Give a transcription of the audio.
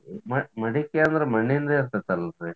ಮಡಕಿ ಅದ್ರ್ ಮಣ್ಣಿಂದ ಇರ್ತೇತಲ್ರಿ?